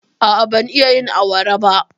A'a, ban iya yin awara ba.